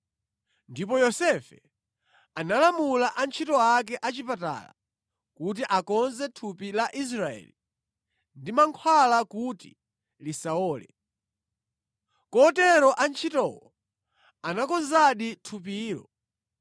Ndipo Yosefe analamula antchito ake a chipatala kuti akonze thupi la Israeli ndi mankhwala kuti lisawole. Kotero antchitowo anakonzadi thupilo.